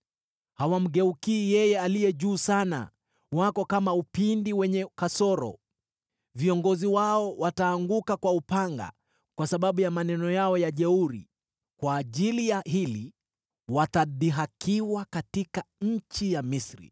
Hawamgeukii Yeye Aliye Juu Sana, wako kama upinde wenye kasoro. Viongozi wao wataanguka kwa upanga kwa sababu ya maneno yao ya jeuri. Kwa ajili ya hili watadhihakiwa katika nchi ya Misri.